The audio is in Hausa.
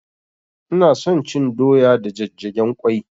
Ina son cin doya da jajjagen ƙwai